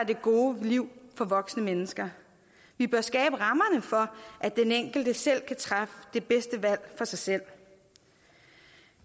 det gode liv for voksne mennesker vi bør skabe rammerne for at den enkelte selv kan træffe det bedste valg for sig selv